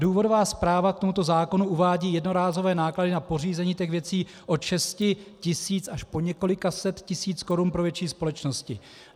Důvodová zpráva k tomuto zákonu uvádí jednorázové náklady na pořízení těch věcí od 6 tis. až po několik set tisíc korun pro větší společnosti.